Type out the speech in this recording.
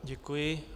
Děkuji.